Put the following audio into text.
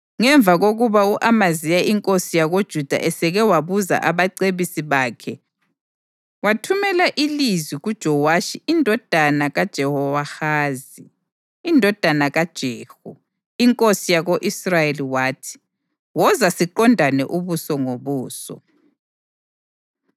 Ngemva kokuba u-Amaziya inkosi yakoJuda eseke wabuza abacebisi bakhe, wathumela ilizwi kuJowashi indodana kaJehowahazi, indodana kaJehu, inkosi yako-Israyeli wathi: “Woza, siqondane ubuso ngobuso.”